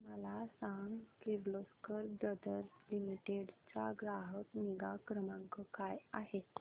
मला सांग Kirloskar brother limited चा ग्राहक निगा क्रमांक काय आहे